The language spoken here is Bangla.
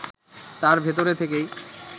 তার ভেতরে থেকেই